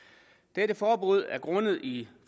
dette forbud er grundet i